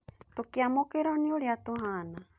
Tũkĩamũkĩrũo nĩ Ũrĩa tũhaana